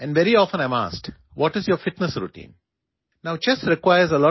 ശാരീരികവും മാനസികവുമായ കരുത്തിനായി എന്താണ് ദിവസവും ചെയ്യുന്നത് എന്ന് പലപ്പോഴും എന്നോട് ചോദിക്കാറുണ്ട്